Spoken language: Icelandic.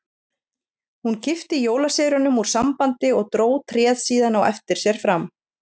Hún kippti jólaseríunum úr sambandi og dró tréð síðan á eftir sér fram.